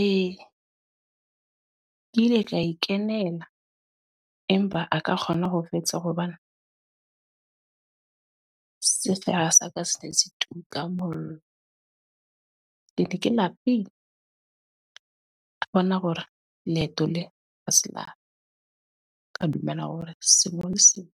Ee, ke ile ka ikenela. Empa a ka kgona ho fetsa hobane, sefuba sa ka se ne se tuka mollo. Ke ne ke lapile. Ka bona hore leeto le ha se laka. Ka dumela hore sekolo sena